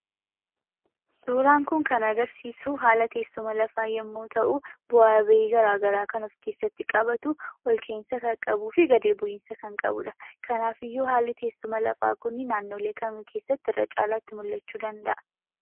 Suuraan kun kan agarsisuu, haala teessuma lafaa yommuu ta'u, bu'a ba'i gara garaa kan ofkeessatti qabatu, ol ka'insa kan qabufi gad bu'insa kan qabudha. Kanafiyyuu haalli teessuma lafaa kun naannolee kam keessatti irra caalaatti mul'achuu danda'a?